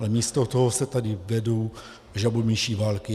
Ale místo toho se tady vedou žabomyší války.